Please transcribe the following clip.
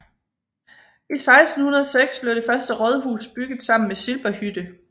I 1606 blev det første rådhus bygget sammen med Silberhütte